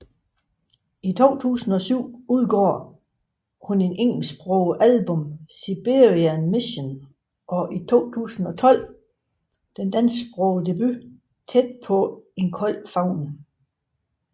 I 2007 udgav hun det engelsksprogede album Siberian Mission og i 2012 den dansksprogede debut Tæt På En Kold Favn